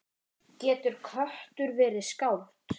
Getur köttur verið skáld?